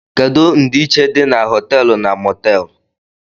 Kedu ndiichie di na hoteelu na motéelu?